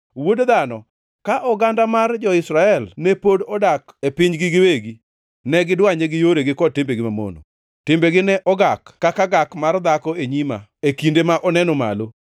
“Wuod dhano, ka oganda mar jo-Israel ne pod odak e pinygi giwegi, ne gidwanye gi yoregi kod timbegi mamono. Timbegi ne ogak kaka gak mar dhako e nyima e kinde ma oneno malo.